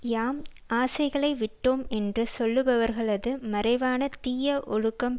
யாம் ஆசைகளை விட்டோம் என்று சொல்லுபவர்களது மறைவான தீய ஒழுக்கம்